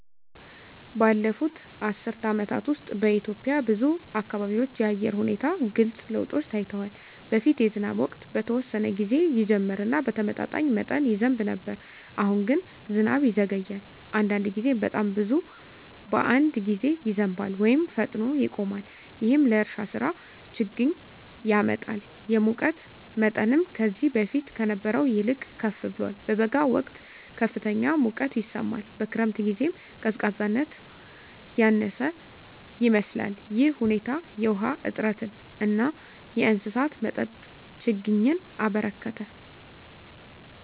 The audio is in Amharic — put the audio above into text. ባለፉት አስርት ዓመታት ውስጥ በኢትዮጵያ ብዙ አካባቢዎች የአየር ሁኔታ ግልጽ ለውጦች ታይተዋል። በፊት የዝናብ ወቅት በተወሰነ ጊዜ ይጀምር እና በተመጣጣኝ መጠን ይዘንብ ነበር። አሁን ግን ዝናብ ይዘገያል፣ አንዳንድ ጊዜም በጣም ብዙ በአንድ ጊዜ ይዘንባል ወይም ፈጥኖ ይቆማል። ይህም ለእርሻ ሥራ ችግኝ ያመጣል። የሙቀት መጠንም ከዚህ በፊት ከነበረው ይልቅ ከፍ ብሏል። በበጋ ወቅት ከፍተኛ ሙቀት ይሰማል፣ በክረምት ጊዜም ቀዝቃዛነት ያነሰ ይመስላል። ይህ ሁኔታ የውሃ እጥረትን እና የእንስሳት መጠጥ ችግኝን አበረከተ።